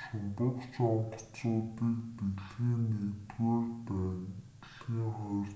шумбагч онгоцуудыг дэлхийн i дайн дэлхийн ii